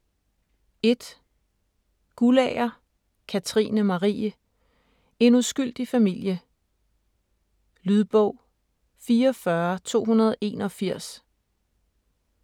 1. Guldager, Katrine Marie: En uskyldig familie Lydbog 44281